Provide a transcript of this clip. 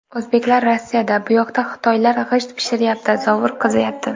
O‘zbeklar Rossiyada, buyoqda xitoylar g‘isht pishiryapti, zovur qaziyapti.